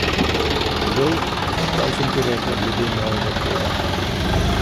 Žolt, kaj sem ti rekla glede mojega poda?